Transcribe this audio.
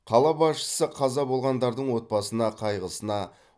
қала басшысы қаза болғандардың отбасына қайғысына